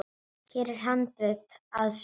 Hér er handrit að sögu.